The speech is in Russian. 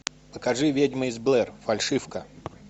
покажи ведьма из блэр фальшивка